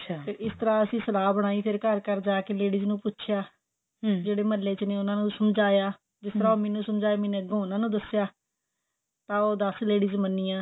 ਤੇ ਇਸ ਤਰ੍ਹਾਂ ਅਸੀਂ ਸਲਾਹ ਬਣਾਈ ਘਰ ਘਰ ਜਾਕੇ ladies ਨੂੰ ਪੁੱਛੀਆ ਜਿਹੜੇ ਮਹਲੇ ਚ ਨੇ ਉਹਨਾਂ ਨੂੰ ਸਮਝਾਇਆ ਜਿਸ ਤਰ੍ਹਾਂ ਉਹ ਮੈਨੂੰ ਸਮਝਾਏ ਮੈਨੇੰ ਅੱਗੇ ਉਹਨਾਂ ਨੂੰ ਦਸਿਆ ਤਾਂ ਉਹ ਦਸ ladies ਮੰਨਿਆ